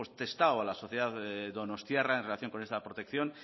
testado a la sociedad donostiarra en relación con esta protección